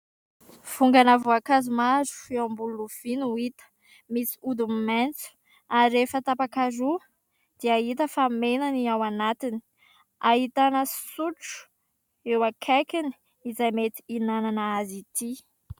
Vongana voankazo maro eo ambony lovia no hita, misy hodiny maitso ary rehefa tapaka roa dia hita fa mena ny ao anatiny, ahitana sotro eo akaikiny izay mety hinanana azy ity.